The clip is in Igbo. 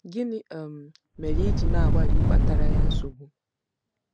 Gịnị um mere i ji na-agbalị ịkpatara ya nsogbu? ”